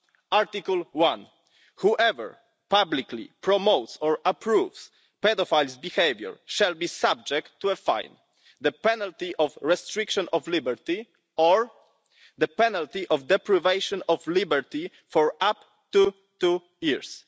Article 1 Whoever publicly promotes or approves paedophiles' behaviour shall be subject to a fine, the penalty of restriction of liberty, or the penalty of deprivation of liberty for up to two years'.